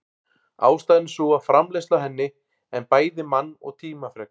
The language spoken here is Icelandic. Ástæðan er sú að framleiðsla á henni en bæði mann- og tímafrek.